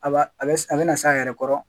A b'a a bɛ na s'a yɛrɛ kɔrɔ